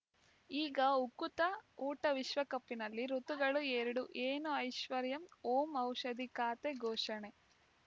ಈಗ ಉಕುತ ಊಟ ವಿಶ್ವಕಪ್‌ನಲ್ಲಿ ಋತುಗಳು ಎರಡು ಏನು ಐಶ್ವರ್ಯಾ ಓಂ ಔಷಧಿ ಖಾತೆ ಘೋಷಣೆ